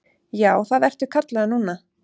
Já, það ertu kallaður núna.